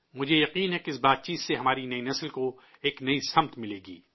مجھے یقین ہے کہ اس بات چیت سے ہماری نئی نسل کو ایک نئی سمت ملے گی